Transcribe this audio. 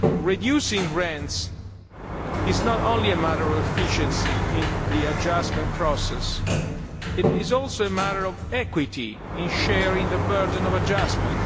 Reducing rents is not only a matter of efficiency in the adjustment process, it is also a matter of equity in sharing the burden of adjustment.